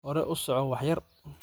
Hore usoco wax yar.